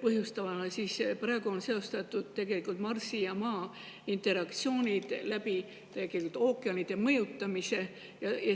põhjust, siis praegu on seostatud Marsi ja Maa interaktsioone ookeanide mõjutamisega.